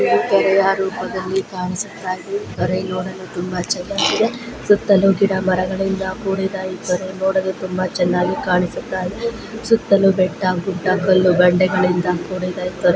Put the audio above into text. ಕೇರಾಯ ರೂಪದಲ್ಲಿ ಕಾಣಿಸುತ್ತಾದೆ ಇವನು ನೋಡಲು ತುಂಬಾ ಚೆನ್ನಾಗಿದೆ ಸುತ್ತಳು ಗಿಡ ಮರಗಳ್ಳಿದ ಕೂಡಿದ ಇದನ್ನು ನೋಡಳು ತುಂಬಾ ಚೆನ್ನಾಗಿ ಕಾಣಿಸುತ್ತದೆ ಸುತ್ತಲು ಬೆಟ್ಟ ಗುಡ್ಡ ಕಲ್ಲು ಬೆಟ್ಟಗಲಿನಂದ ಕೂಡಿದೆ.